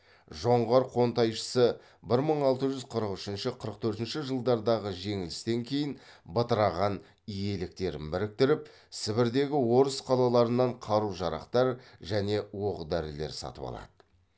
жоңғар қонтайшысы бір мың алты жүз қырық үшінші қырық төртінші жылдардағы жеңілістен кейін бытыраған иеліктерін біріктіріп сібірдегі орыс қалаларынан қару жарақтар және оқ дәрілер сатып алады